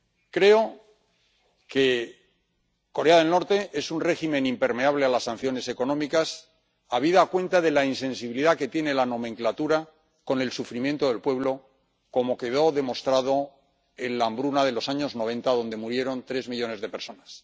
Creo que Corea del Norte es un régimen impermeable a las sanciones económicas, habida cuenta de la insensibilidad que tiene la nomenklatura con el sufrimiento del pueblo, como quedó demostrado en la hambruna de los años 90, donde murieron tres millones de personas.